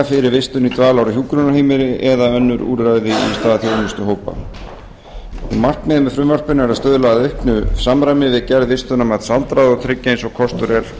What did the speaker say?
fyrir vistun í dvalar eða hjúkrunarrými eða önnur úrræði í stað þjónustuhópa markmið frumvarpsins er að stuðla að auknu samræmi við gerð vistunarmats aldraðra og tryggja eins og kostur er